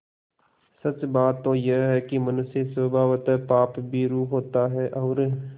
सच बात तो यह है कि मनुष्य स्वभावतः पापभीरु होता है और